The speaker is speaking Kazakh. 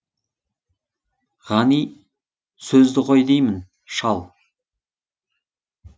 ғани сөзді қой деймін шал